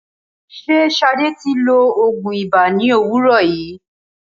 Ṣé Sade ti lo òògùn ibà ní òwúrò yìí?